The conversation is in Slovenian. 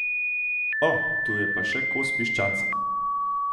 O, tu je pa še kos piščanca.